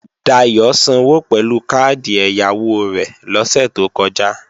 Dayò sanwó pẹ̀lú káàdì ẹ̀yáwó rẹ̀ lọ́sè tó kọjá